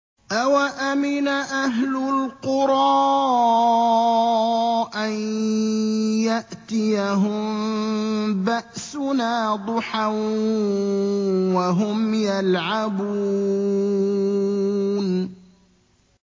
أَوَأَمِنَ أَهْلُ الْقُرَىٰ أَن يَأْتِيَهُم بَأْسُنَا ضُحًى وَهُمْ يَلْعَبُونَ